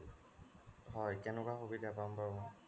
হয় তেনেকুৱা সুবিধা পাম বাৰু মই